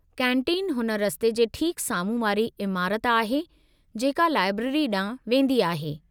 Canteen हुन रस्ते जे ठीक साम्हूं वारी इमारत आहे जेको लाइब्रेरी ॾांहुं वेंदी आहे।